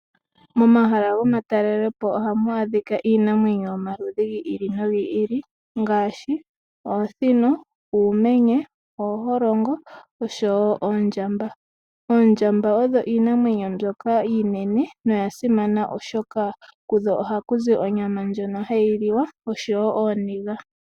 Mo mahala goma talelopo ohamu adhika iinamwenyo yomaludhi gi ili nogi ili, ngaashi oosino , uumenye, ooholongo osho wo oondjamba. Oondjamba odho iinamwenyo mbyoka iinene noya simana oshoka, kudho ohaku zi onyama ndjono hayi liwa osho wo ooniga.